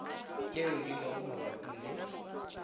tšeo di lego mabapi le